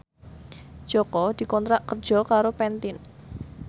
Jaka dikontrak kerja karo Pantene